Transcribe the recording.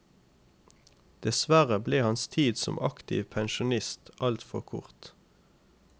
Dessverre ble hans tid som aktiv pensjonist altfor kort.